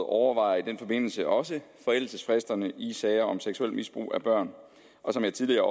overvejer i den forbindelse også forældelsesfristerne i sager om seksuelt misbrug af børn og som jeg tidligere